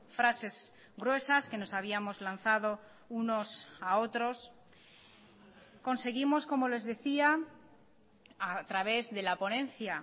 frases gruesas que nos habíamos lanzado unos a otros conseguimos como les decía a través de la ponencia